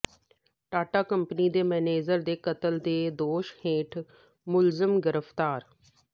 Tata company ਦੇ manager ਦੇ ਕਤਲ ਦੇ ਦੋਸ਼ ਹੇਠ ਮੁਲਜ਼ਮ ਗ੍ਰਿਫ਼ਤਾਰ